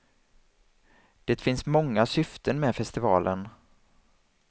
Det finns många syften med festivalen.